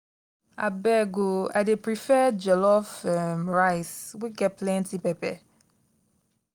abeg o i dey prefer jollof um rice wey get plenty pepper.